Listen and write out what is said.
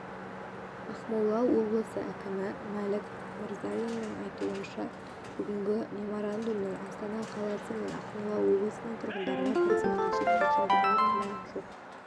ақмола облысы әкімі мәлік мырзалиннің айтуынша бүгінгі меморандумның астана қаласы мен ақмола облысының тұрғындарына бірдей қажет екенінде күмән жоқ